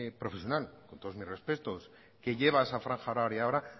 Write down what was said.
profesional con todos mis respetos que lleva esa franja horaria ahora